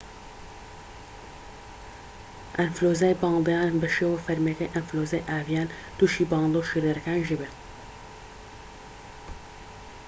ئەنفلۆنزای باڵندە یان بە شێوە فەرمیەکەی ئەنفلۆنزای ئاڤیان توشی باڵندە و شیردەرەکانیش دەبێت